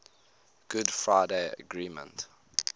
good friday agreement